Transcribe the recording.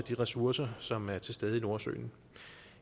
de ressourcer som er til stede i nordsøen